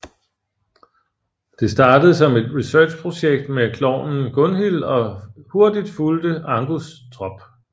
Det startede som et researchprojekt med klovnen Gunhil og hurtigt fulgte Angus trop